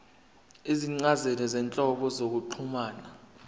izincazelo zezinhlobo zokuxhumana